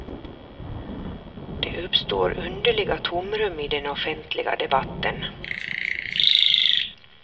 Det uppstår underliga tomrum i den offentliga debatten.